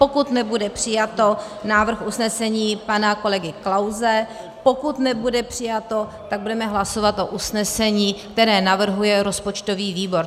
Pokud nebude přijato, návrh usnesení pana kolegy Klause, pokud nebude přijato, tak budeme hlasovat o usnesení, které navrhuje rozpočtový výbor.